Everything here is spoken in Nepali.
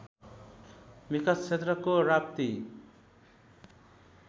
विकास क्षेत्रको राप्ती